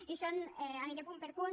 i aniré punt per punt